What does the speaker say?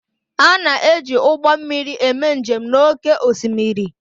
A na-eji ụgbọ mmiri eme njem n'oké osimiri